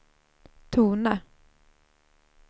tona